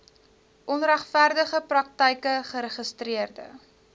onregverdige praktyke geregistreede